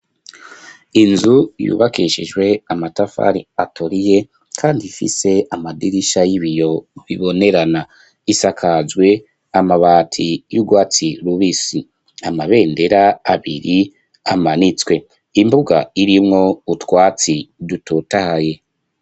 Inzu yubakishijwe amatafari atoriye kandi ifise amadirisha y'ibiyo bibonerana isakajwe amabati y'urwatsi rubisi amabendera abiri amanitswe imbuga irimwo utwatsi dutotaye.